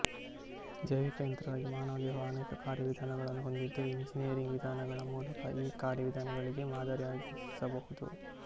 ಜೈವಿಕ ಯಂತ್ರವಾಗಿ ಮಾನವದೇಹವು ಅನೇಕ ಕಾರ್ಯವಿಧಾನಗಳನ್ನು ಹೊಂದಿದ್ದು ಎಂಜಿನಿಯರಿಂಗ್ ವಿಧಾನಗಳ ಮೂಲಕ ಈ ಕಾರ್ಯವಿಧಾನಗಳಿಗೆ ಮಾದರಿಯಾಗಿಸಬಹುದು